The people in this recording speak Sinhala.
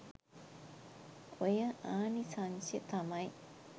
ඔය ආනිසංශෙ තමයි.